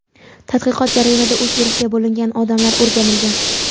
Tadqiqot jarayonida uch guruhga bo‘lingan odamlar o‘rganilgan.